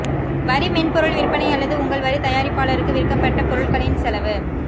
வரி மென்பொருள் விற்பனை அல்லது உங்கள் வரி தயாரிப்பாளருக்கு விற்கப்பட்ட பொருட்களின் செலவு